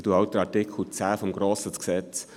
Trotzdem danke ich für den Hinweis.